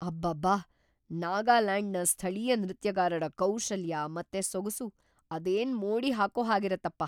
ಅಬ್ಬಬ್ಬಾ! ನಾಗಾಲ್ಯಾಂಡ್‌ನ ಸ್ಥಳೀಯ ನೃತ್ಯಗಾರರ ಕೌಶಲ್ಯ ಮತ್ತೆ ಸೊಗಸು ಅದೇನ್‌ ಮೋಡಿ ಹಾಕೋ ಹಾಗಿರತ್ವಪ್ಪ!